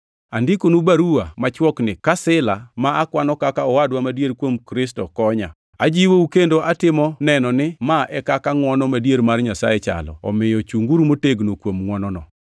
Andikonu baruwa machwokni ka Sila, + 5:12 Jo-Grik luonge ni Silfano. ma akwano kaka owadwa madier kuom Kristo, konya. Ajiwou kendo atimo neno ni ma e kaka ngʼwono madier mar Nyasaye chalo, omiyo chunguru motegno kuom ngʼwonono.